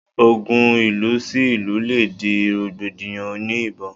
Ogun ìlú sí ìlú le di rògbòdìyàn òní ìbọn